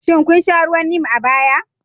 Shin kun sha ruwan Neem a baya?